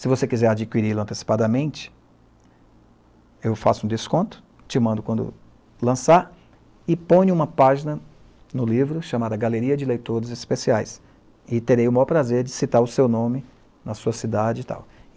Se você quiser adquiri-lo antecipadamente, eu faço um desconto, te mando quando lançar, e põe uma página no livro, chamada Galeria de Leitores Especiais, e terei o maior prazer de citar o seu nome, na sua cidade e tal.